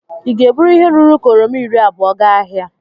ị ga-eburu ihe ruru ka oroma iri abou gaa ahịa